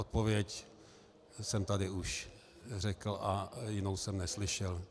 Odpověď jsem tady již řekl a jinou jsem neslyšel.